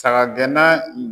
Saga gɛnna